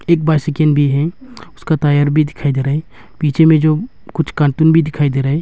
एक बाइसिकल भी है उसका टायर भी दिखाई दे रहा है पीछे में जो कुछ कार्टून भी दिखाई दे रहा है।